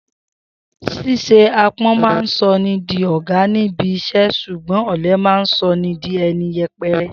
S̩ís̩e aápo̩n máa ń so̩ni di ò̩gá níbi is̩é̩ s̩ùgbó̩n ò̩le̩ máa ń so̩ni di e̩ni ye̩pe̩re̩